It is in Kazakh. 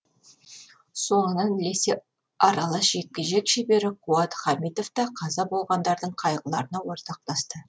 соңынан ілесе аралас жекпе жек шебері қуат хамитов та қаза болғандардың қайғыларына ортақтасты